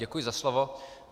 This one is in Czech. Děkuji za slovo.